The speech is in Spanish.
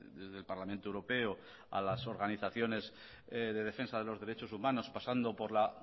desde el parlamento europeo a las organizaciones de defensa de los derechos humanos pasando por la